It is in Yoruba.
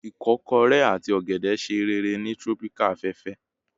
ikokore ati ogede ṣe rere ni Tropical afefe